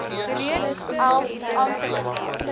reeds elf amptelike